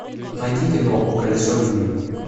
найди кино колесо любви